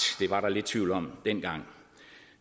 det var der lidt tvivl om dengang